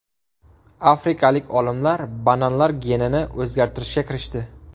Afrikalik olimlar bananlar genini o‘zgartirishga kirishdi.